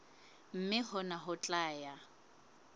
mme hona ho tla ya